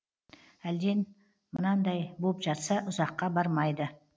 әлден мынандай боп жатса ұзаққа бармайды